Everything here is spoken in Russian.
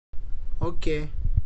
окей